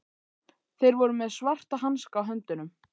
Þeir voru með svarta hanska á höndunum.